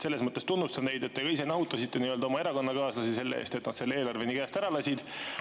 Selles mõttes tunnustan teid, et te ise nahutasite oma erakonnakaaslasi selle eest, et nad eelarve nii käest ära lasid.